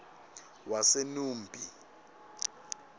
wasenumbi